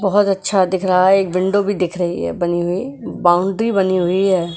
बहुत अच्छा दिख रहा है एक विंडो भी दिख रही है बनी हुई बाउंड्री बनी हुई है।